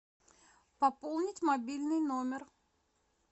пополнить мобильный номер